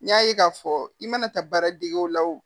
N y'a ye k'a fɔ i mana taa baara degew la o